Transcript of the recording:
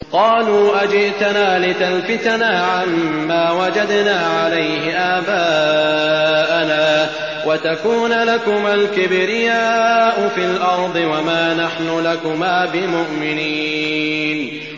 قَالُوا أَجِئْتَنَا لِتَلْفِتَنَا عَمَّا وَجَدْنَا عَلَيْهِ آبَاءَنَا وَتَكُونَ لَكُمَا الْكِبْرِيَاءُ فِي الْأَرْضِ وَمَا نَحْنُ لَكُمَا بِمُؤْمِنِينَ